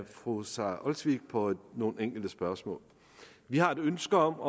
fru sara olsvig på nogle enkelte spørgsmål vi har et ønske om